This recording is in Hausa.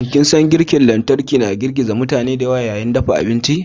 Shin ko kin san girki na lantarki ya girgiza mutane da yawa yayin dafa abinci?